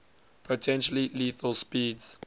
potentially lethal speeds